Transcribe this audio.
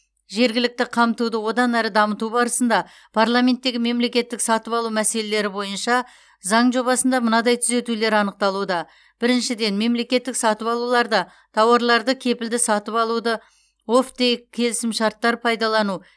жергілікті қамтуды одан әрі дамыту барысында парламенттегі мемлекеттік сатып алу мәселелері бойынша заң жобасында мынадай түзетулер анықталуда біріншіден мемлекеттік сатып алуларда тауарларды кепілді сатып алуды оффтейк келісімшарттар пайдалану